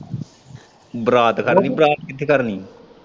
ਬਰਾਤ ਖੜਨੀ ਬਰਾਤ ਕਿੱਥੇ ਖੜਨੀ।